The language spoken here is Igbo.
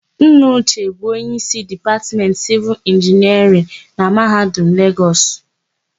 Nna Uche bụ onyeísí Dipatmentị Sịvịl Inginiarịn na Mahadum Legọs.